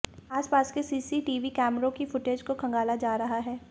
आसपास के सीसीटीवी कैमरों की फुटेज को खंगाला जा रहा है